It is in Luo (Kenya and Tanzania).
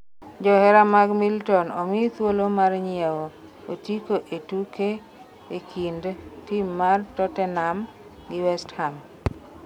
johera mag milton omi thuolo mar nyiewo otiko e tuke e kind tim mar Totenam gi west ham